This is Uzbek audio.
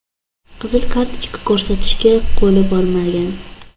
Qizil kartochka ko‘rsatishga qo‘li bormagan.